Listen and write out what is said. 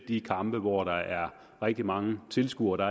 de kampe hvor der er rigtig mange tilskuere